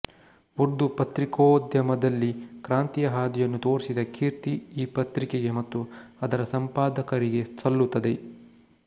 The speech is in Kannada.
ಉರ್ದು ಪತ್ರಿಕೋದ್ಯಮದಲ್ಲಿ ಕ್ರಾಂತಿಯ ಹಾದಿಯನ್ನು ತೋರಿಸಿದ ಕೀರ್ತಿ ಈ ಪತ್ರಿಕೆಗೆ ಮತ್ತು ಅದರ ಸಂಪಾದಕರಿಗೆ ಸಲ್ಲುತ್ತದೆ